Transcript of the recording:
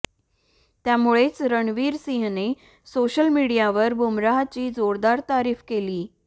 त्यामुळेच रणवीर सिंहने सोशल मीडियावर बुमराहची जोरदार तारीफ केली